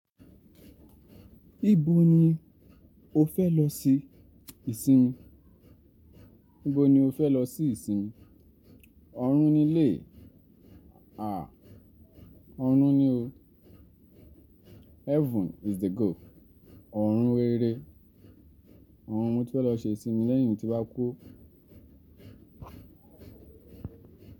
Ibo ni o fẹ lọ sí ìsinmi? Ibo ni o fẹ lọ sí ìsinmi? Ọ̀run ni ilé. À, ọ̀run ni o. Heaven is the goal. Ọ̀run rere. Ọ̀run mo fẹ lọ ṣe ìsinmi lẹyìn ti n ba kú.